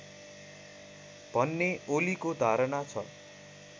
भन्ने ओलीको धारणा छ